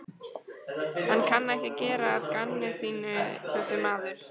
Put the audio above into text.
Hann kann ekki að gera að gamni sínu þessi maður.